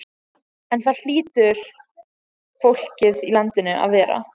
En það hlýtur fólkið í landinu að gera.